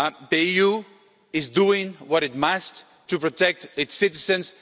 The EU is doing what it must to protect its citizens.